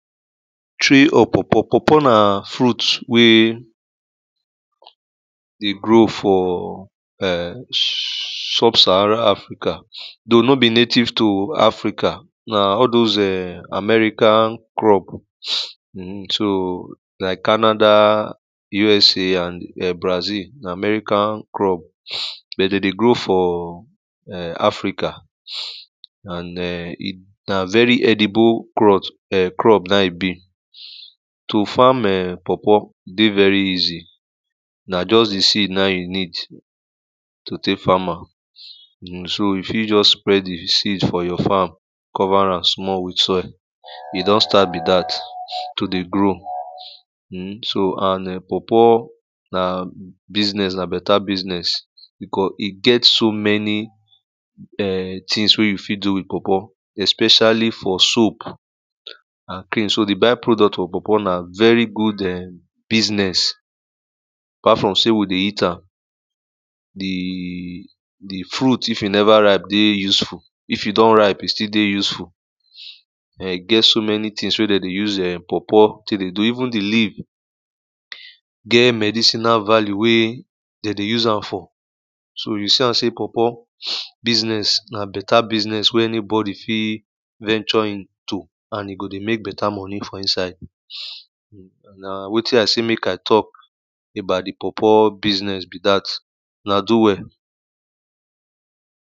Tree of pawpaw, pawpaw na fruit wey dey grow for um sub Saharan Africa, though no be native to Africa na all those um American crop um so like Canada, USA and em Brazil. Na American crop but de dey grow for um Africa and um, na very edible cloth, um crop na e be, to farm um pawpaw dey very easy na just do seed na you need to tey farm an, um, so you fit just spread di seed for your farm, cover am small with soil, e don start be dat to dey grow um so and um pawpaw na business, na better business because e get so many um things wey you fit do with pawpaw, especially for soap and cream. So di by-product of pawpaw, na very good um business apart from sey we dey eat am. The, the fruit if e never ripe dey useful, if e don ripe e still dey useful. um E get so many things wey de dey use pawpaw tey dey do even di leaf get medicinal value wey de dey use am for. So you see am sey pawpaw business na better business wey anybody fit venture into and e go dey make better money for inside, na wetin I dey mek I tok about di pawpaw business be dat. una do well.